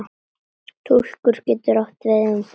Túlkun getur átt við um